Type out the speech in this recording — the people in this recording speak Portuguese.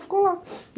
Ficou lá.